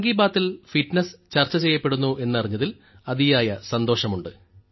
മൻ കി ബാത്തിൽ ഫിറ്റ്നസ് ചർച്ച ചെയ്യപ്പെടുന്നു എന്നറിഞ്ഞതിൽ അതിയായ സന്തോഷമുണ്ട്